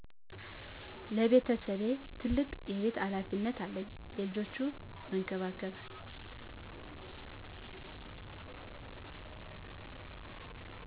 ለቤተሰቤ ትልቅ የቤት ሃላፊነት አለኝ ልጆችን መንከባከብ